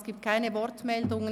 Es gibt keine Wortmeldungen.